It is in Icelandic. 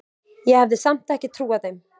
Ég hafði samt ekki trúað þeim.